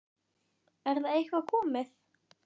Er það eitthvað komið?